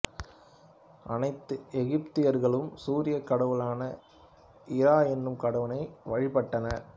அனைத்து எகிப்தியர்களும் சூரியக் கடவுளான இரா எனும் கடவுளை வழிபட்டனர்